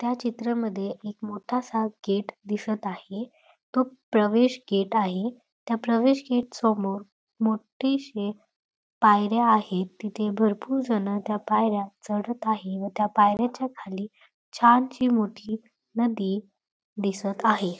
त्या चित्रांमध्ये एक मोठासा गेट दिसत आहे तो प्रवेश गेट आहे त्या प्रवेश गेट समोर मोठी शी पायऱ्या आहेत तिथे भरपूर जणं त्या पायऱ्या चढत आहे व त्या पायऱ्यांच्या खाली छानशी मोठी नदी दिसत आहे.